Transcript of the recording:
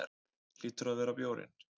Hlýtur að vera bjórinn.